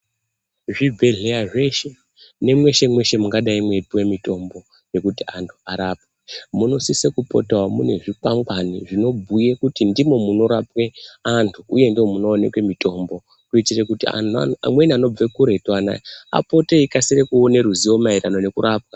Zvibhedhleya zveshe, nemweshe-mweshe mungadai mweipuwe mitombo yekuti antu arapwe, munosise kupotawo mune zvikwangwani zvinobhuye kuti ndimo munorapwe antu ,uye ndomunoonekwe mitombo, kuitire kuti anhu amweni anobve kuretu anaya, apote eikasire kuone ruzivo maererano nekurapwa.